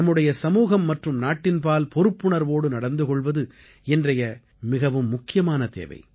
நம்முடைய சமூகம் மற்றும் நாட்டின் பால் பொறுப்புணர்வோடு நடந்து கொள்வது இன்றைய மிக முக்கியமான தேவை